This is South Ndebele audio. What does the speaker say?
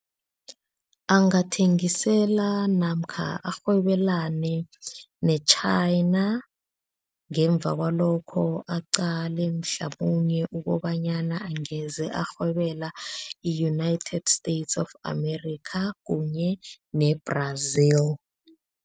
Angathengisela namkha arhwebelane ne-China ngemva kwalokho aqale mhlamunye ukobanyana angeze arhwebela i-United States of Amerikha kunye ne-Brazil.